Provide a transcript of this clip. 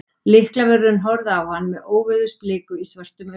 Lyklavörðurinn horfði á hann með óveðursbliku í svörtum augunum.